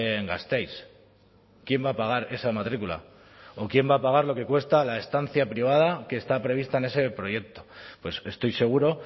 en gasteiz quién va a pagar esa matrícula o quién va a pagar lo que cuesta la estancia privada que está prevista en ese proyecto pues estoy seguro